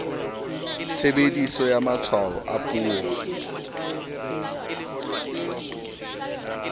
tshebediso ya matshwao a puo